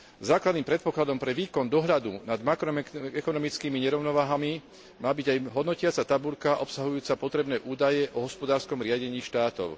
Základným predpokladom pre výkon dohľadu nad makroekonomickými nerovnováhami má byť aj hodnotiaca tabuľka obsahujúca potrebné údaje o hospodárskom riadení štátov.